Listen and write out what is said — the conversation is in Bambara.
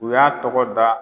U y'a tɔgɔ da